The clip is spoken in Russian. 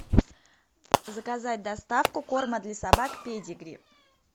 заказать доставку корма для собак педигри